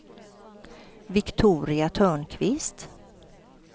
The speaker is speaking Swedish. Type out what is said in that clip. Viktoria Törnqvist